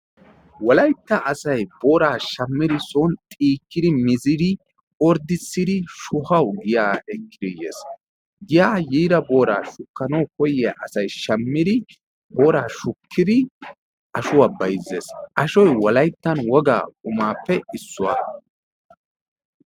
Wolaytta asayi booraa shammidi son xiikkidi mizidi orddissidi shuhawu giyaa ekkidi yes. Giyaa yiida booraa shukkanawu koyyiya asayi shammidi booraa shukkidi ashuwa bayzzes. Ashoyi wolayttan wogaa qumaappe issuwa.